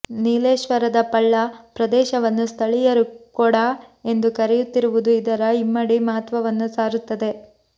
ನೀಲೇಶ್ವರದ ಪಳ್ಳ ಪ್ರದೇಶವನ್ನು ಸ್ಥಳೀಯರು ಕೊಡ ಎಂದು ಕರೆಯುತ್ತಿರುವುದು ಇದರ ಇಮ್ಮಡಿ ಮಹತ್ವವನ್ನು ಸಾರುತ್ತದೆ